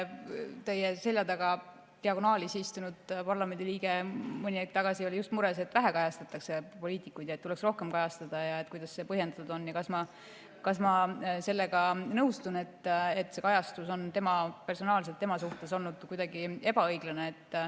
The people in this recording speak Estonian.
Teie selja taga diagonaalis istunud parlamendiliige oli mõni aeg tagasi mures, et poliitikuid kajastatakse vähe ja neid tuleks rohkem kajastada, ja kuidas see põhjendatud on ja kas ma sellega nõustun, et see kajastus on personaalselt tema suhtes olnud kuidagi ebaõiglane.